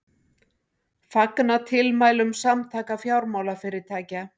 Fagna tilmælum Samtaka fjármálafyrirtækja